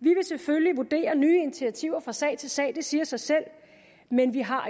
vi vil selvfølgelig vurdere nye initiativer fra sag til sag det siger sig selv men vi har